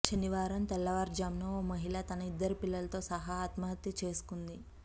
శనివారం తెల్లవారుజామున ఓ మహిళ తన ఇద్దరు పిల్లలతో సహా ఆత్మహత్య చేసుకుంది